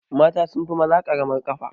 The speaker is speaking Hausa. Mata sunfi maza ƙaramar kafa